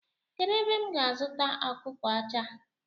Kedụ ebe m ga-azụ ọkụkọ ọcha?